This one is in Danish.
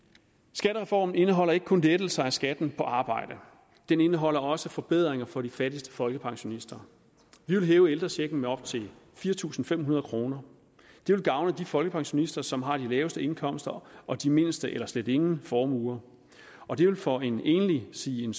skattereformen indeholder ikke kun lettelser af skatten på arbejde den indeholder også forbedringer for de fattigste folkepensionister vi vil hæve ældrechecken med op til fire tusind fem hundrede kroner det vil gavne de folkepensionister som har de laveste indkomster og de mindste eller slet ingen formuer det vil for en enlig sige en